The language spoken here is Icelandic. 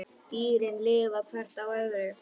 Dýrin lifa hvert á öðru.